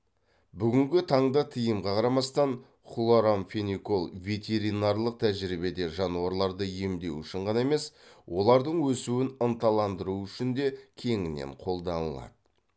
бүгінгі таңда тыйымға қарамастан хлорамфеникол ветеринарлық тәжірибеде жануарларды емдеу үшін ғана емес олардың өсуін ынталандыру үшін де кеңінен қолданылады